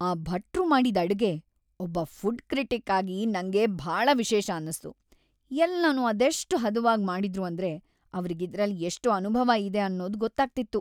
ಆ ಭಟ್ರು ಮಾಡಿದ್ ಅಡ್ಗೆ, ಒಬ್ಬ ಫುಡ್‌ ಕ್ರಿಟಿಕ್‌ ಆಗಿ, ನಂಗೆ ಭಾಳ ವಿಶೇಷ ಅನ್ಸ್ತು, ಎಲ್ಲನೂ ಅದೆಷ್ಟ್‌ ಹದವಾಗ್ ಮಾಡಿದ್ರು ಅಂದ್ರೆ ಅವ್ರಿಗಿದ್ರಲ್ಲ್ ಎಷ್ಟ್ ಅನುಭವ ಇದೆ ಅನ್ನೋದ್‌ ಗೊತ್ತಾಗ್ತಿತ್ತು.